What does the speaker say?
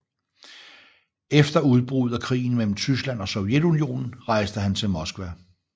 Efter udbruddet af krigen mellem Tyskland og Sovjetunionen rejste han til Moskva